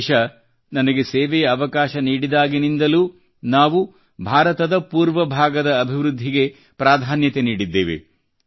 ದೇಶ ನನಗೆ ಸೇವೆಯ ಅವಕಾಶ ನೀಡಿದಾಗಿನಿಂದಲೂ ನಾವು ಭಾರತದ ಪೂರ್ವ ಭಾಗದ ಅಭಿವೃದ್ಧಿಗೆ ಪ್ರಾಧಾನ್ಯತೆ ನೀಡಿದ್ದೇವೆ